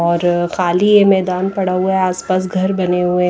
और खाली है मैदान पड़ा हुआ है आसपास घर बने हुए--